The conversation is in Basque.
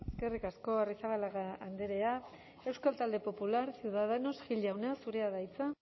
eskerrik asko arrizabalaga andrea euskal talde popular ciudadanos gil jauna zurea da hitza